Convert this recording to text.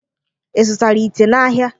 Ị zụtara ite n'ahịa?